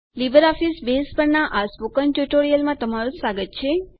LibreOffice base પરના આ spoken ટ્યુટોરીયલમાં તમારું સ્વાગત છે